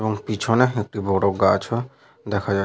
এবং পিছনে একটি বড় গাছও দেখা যা --